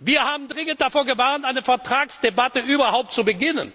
Wir haben dringend davor gewarnt, eine Vertragsdebatte überhaupt zu beginnen,